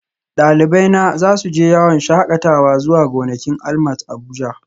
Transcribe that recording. Dalibaina za su je yawon shakatawa zuwa gonakin ALMAT Abuja